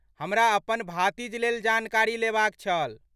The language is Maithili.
हमरा अपन भातिजलेल जानकारी लेबाक छल।